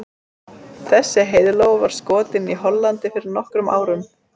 Þessi heiðlóa var skotin í Hollandi fyrir nokkrum árum.